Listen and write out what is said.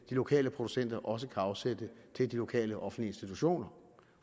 lokale producenter også kan afsætte til de lokale offentlige institutioner